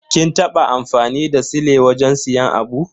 Kin taba amfani da sile wajen siyan abu?